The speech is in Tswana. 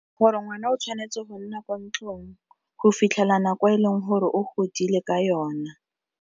Gore ngwana o tshwanetse go nna ko ntlong go fitlhela nako e leng gore o godile ka yona.